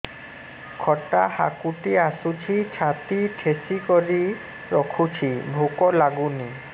ଖଟା ହାକୁଟି ଆସୁଛି ଛାତି ଠେସିକରି ରଖୁଛି ଭୁକ ଲାଗୁନି